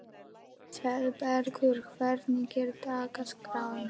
Sólbergur, hvernig er dagskráin?